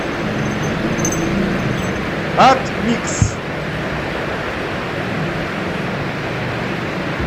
атмикс